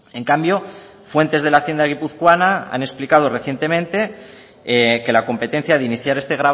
en cambio fuentes de la hacienda guipuzcoana han explicado recientemente que la competencia de iniciar este